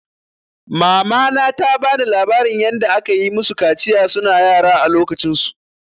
Mamana ta bani labarin yanda akayi musu kaciya suna yara a lokacin su.